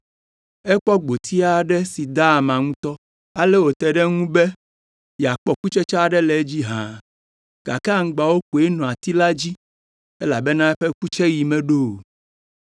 Ekpɔ gboti aɖe si da ama ŋutɔ, ale wòte ɖe eŋu be yeakpɔ kutsetse aɖe le edzi hã, gake aŋgbawo koe nɔ ati la dzi, elabena eƒe kutseɣi meɖo o.